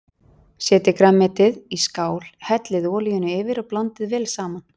Setjið grænmetið í skál, hellið olíunni yfir og blandið vel saman.